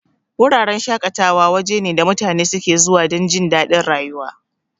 Wuraren shaƙatawa waje ne da mutane suke zuwa dan jindadin rayuwa.